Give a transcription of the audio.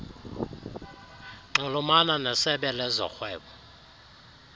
nxulumana nesebe lezorhwebo